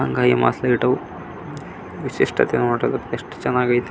ಇದು ವಂದು ದೊಡ ವಾದ್ ಮೇದ್ದಂ ವಾಗಿದೆ ಇದ ರಲ್ಲಿ ಸುಮಾರ್ ಜನ ದೂರದಲ್ಲಿ ಕೂತಿದಾರೆ ವಂದು ಲೈಟ್ ಇದೆ ವಬ ವೆಕ್ತಿಉ ನೆತಿದಾನೆ.